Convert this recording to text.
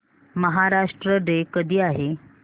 Maharashtra day कधी आहे